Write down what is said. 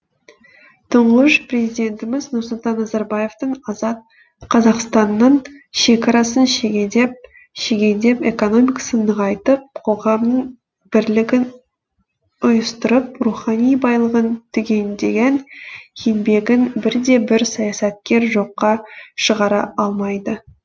тұңғыш президентіміз нұрсұлтан назарбаевтың азат қазақстанның шекарасын шегендеп экономикасын нығайтып қоғамның бірлігін ұйыстырып рухани байлығын түгендеген еңбегін бірде бір саясаткер жоққа шығара алмайды